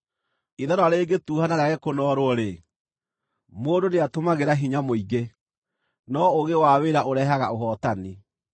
Ithanwa rĩngĩtuuha na rĩage kũnoorwo-rĩ, mũndũ nĩatũmagĩra hinya mũingĩ, no ũũgĩ wa wĩra ũrehaga ũhootani.